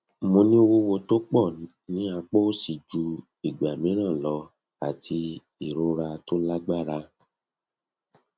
mo ní wuwu to pọ ní apá òsì ju ìgbà mìíràn lọ àti ìrora tó lágbára